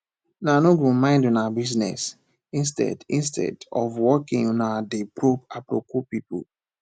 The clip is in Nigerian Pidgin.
una no go mind una business instead instead of working una dey probe aproko people